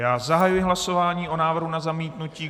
Já zahajuji hlasování o návrhu na zamítnutí.